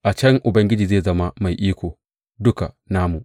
A can Ubangiji zai zama Mai Iko Duka namu.